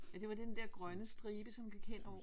Ja det var den der grønne stribe som gik hen over